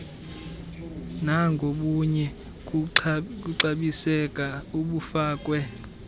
nangobunye kukuxabiseka obufakwe